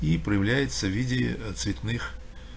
и проявляется в виде цветных